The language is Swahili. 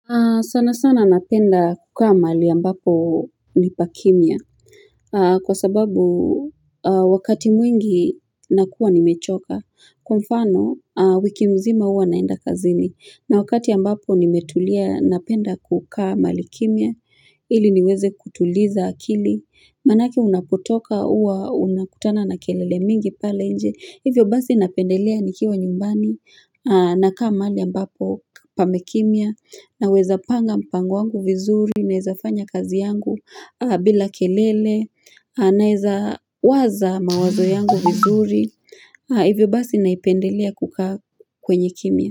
Sana sana napenda kukaa mahali ambapo ni pakimia. Kwa sababu wakati mwingi nakuwa nimechoka. Kwa mfano wiki mzima huwa naenda kazini. Na wakati ambapo nimetulia napenda kukaa mahali kimia. Ili niweze kutuliza akili. Maanake unapotoka huwa unakutana na kelele mingi pale nje. Hivyo basi napendelea nikiwa nyumbani. Nakaa mahali ambapo pamekimia. Naweza panga mpango wangu vizuri, naweza fanya kazi yangu bila kelele, naweza waza mawazo yangu vizuri, hivyo basi naipendelea kukaa kwenye kimia.